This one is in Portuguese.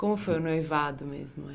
Como foi o noivado mesmo?